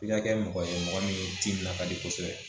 I ka kɛ mɔgɔ ye mɔgɔ min ji bila ka di kosɛbɛ